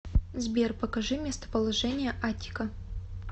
сбер покажи местоположение аттика